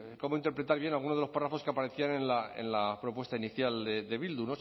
cómo interpretar bien alguno de los párrafos que aparecían en la propuesta inicial de bildu